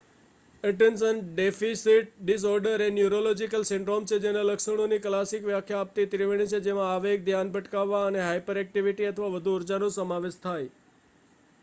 "Attention deficit disorder "એ neurological syndrome છે જેના લક્ષણોની ક્લાસિક વ્યાખ્યા આપતી ત્રિવેણી છે જેમાં આવેગ ધ્યાન ભટકાવવા અને હાયપરએક્ટિવિટી અથવા વધુ ઊર્જા""નો સમાવેશ થાય.